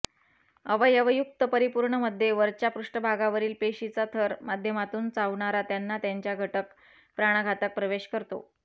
अवयवयुक्त परिपूर्ण मध्ये वरच्या पृष्ठभागावरील पेशीचा थर माध्यमातून चावणारा त्यांना त्यांच्या घटक प्राणघातक प्रवेश करतो